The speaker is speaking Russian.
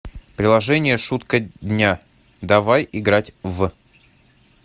приложение шутка дня давай играть в